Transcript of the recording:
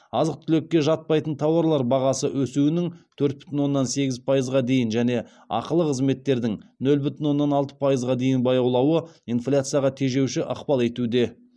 азық түлікке жатпайтын тауарлар бағасы өсуінің төрт бүтін оннан сегіз пайызға дейін және ақылы қызметтердің нөл бүтін оннан алты пайызға дейін баяулауы инфляцияға тежеуші ықпал етуде